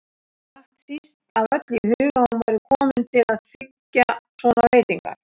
Datt síst af öllu í hug að hún væri komin til að þiggja svona veitingar.